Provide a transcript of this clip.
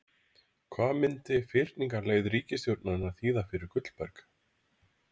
Hvað myndi fyrningarleið ríkisstjórnarinnar þýða fyrir Gullberg?